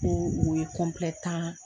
O o ye tan